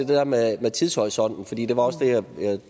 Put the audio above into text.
der med tidshorisonten og det var også det jeg